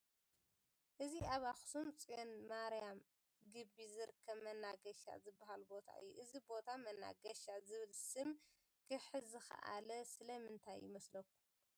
እዚ ኣብ ኣክሱም ፅዮን ማርያም ግቢ ዝርከብ መናገሻ ዝበሃል ቦታ እዩ፡፡ እዚ ቦታ መናገሻ ዝብል ሽም ክሕዝ ዝኸኣለ ስለምንታይ ይመስለኩም?